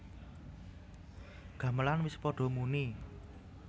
Gamelan wis padha muni